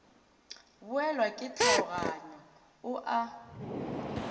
boelwa ke tlhaoganyo o a